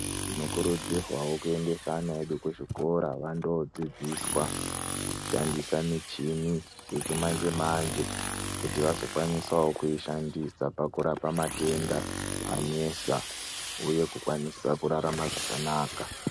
Tinokurudzirwawo kuendese ana edu kuzvikora vando dzidzoswa kushandisa michini yechimanje manje kuti vazokwanisawo kuishandisa pakurape matenda anesa uye kukwanisa rarama zvakanaka.